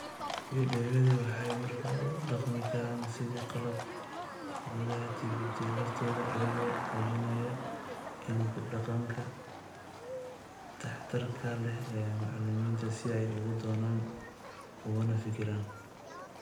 Fiidiyowyadu waxay markaa u dhaqmi karaan sidii qalab gudaha TPD lafteeda, iyagoo muujinaya (in) ku dhaqanka waxtarka leh ee macallimiinta si ay uga doodaan ugana fikiraan.